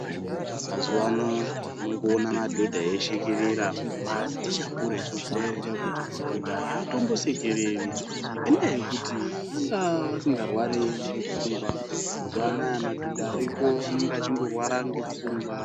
Mazuwa ano tiri kuona madhodha eishekerera asi tichakura isusu taizita kuti madhodha aatombosekereri ngendaa yekuti vanga vasingarwari ngepfungwa mazuwa anaya madhodha ariko anenge achingorwara ngepfungwa.